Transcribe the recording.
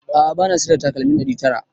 A'a bana siyar da takalmin ɗari tara